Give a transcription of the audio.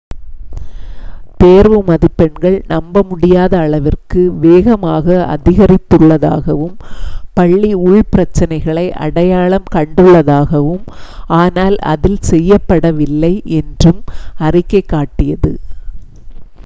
தேர்வு மதிப்பெண்கள் நம்ப முடியாத அளவிற்கு வேகமாக அதிகரித்துள்ளதாகவும் பள்ளி உள்பிரச்சனைகளை அடையாளம் கண்டுள்ளதாகவும் ஆனால் அதில் செயல்படவில்லை என்றும் அறிக்கை காட்டியது